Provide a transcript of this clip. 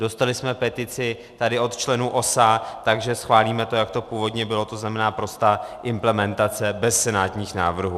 Dostali jsme petici tady od členů OSA, takže schválíme to, jak to původně bylo, to znamená prostá implementace bez senátních návrhů.